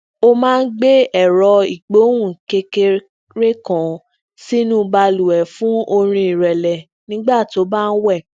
ó máa ń gbé ẹrọ igbohùn kékeré kan sínú baluwẹ fun orin irẹlẹ nígbà tó bá ń wè